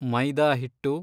ಮೈದಾ ಹಿಟ್ಟು